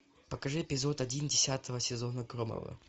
покажи эпизод один десятого сезона громовы